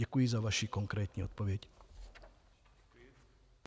Děkuji za vaši konkrétní odpověď.